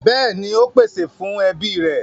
Bẹ́ẹ̀ni, ó pèsè fún ẹbí rẹ̀.